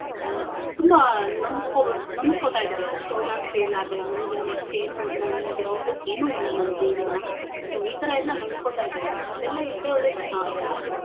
ಆಹ್ ತುಂಬಾ ನೊಂದ್ಕೊಬುಡ್ ನೊಂದ್ಕೊತಾಯಿದಾರೆ so ನಾನ್ fail ಆದೆ ನನ್ಗಿನ್ next ಏನು ನನ್ಗೆ ಮುಂದಕ್ ಏನೂ ಇಲ್ಲ ನನ್ ಜೀವನ so ಈಥರ ಎಲ್ಲಾ ನೊಂದ್ಕೊತಾಯಿದಾರೆ ಅದೆಲ್ಲಾ ಇಲ್ದೆ ಹೋದ್ರೆ ಅಹ್ ಚೆನ್ನಾಗಿರತ್ತೆ.